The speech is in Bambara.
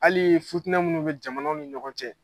Hali futina minnu bɛ jamanaw ni ɲɔgɔn cɛ.